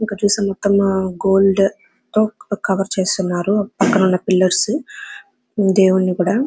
ఇక్కడ చుస్తే మొత్తం గోల్డ్ తో కవర్ చేసి ఉన్నారు పక్కనున్న పిల్లర్స్ దేవుడిని కూడా.